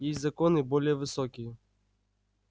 есть законы более высокие